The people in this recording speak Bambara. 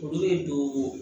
Olu de don